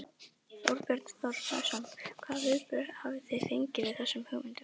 Þorbjörn Þórðarson: Hvaða viðbrögð hafið þið fengið við þessum hugmyndum?